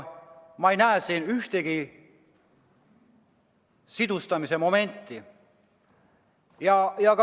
Ma ei näe siin vähimatki märki sidustamisest.